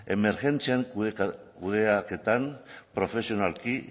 emergentzian kudeaketan profesionalki